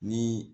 Ni